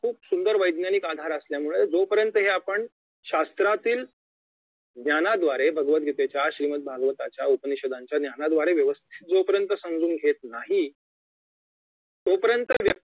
खूप सुंदर वैज्ञानिक आधार असल्यामुळे जोपर्यंत हे आपण शास्त्रातील ज्ञानाद्वारे भगवतगीतेच्या श्रीमत भागवताच्या उपनिषदांच्या ज्ञानाद्वारे व्यवस्थित जोपर्यंत समजून घेत नाही तोपर्यंत